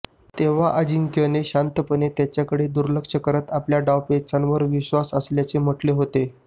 तेव्हा अजिंक्यने शांतपणे त्याकडे दुर्लक्ष करत आपल्या डावपेचांवर विश्वास असल्याचे म्हटले होते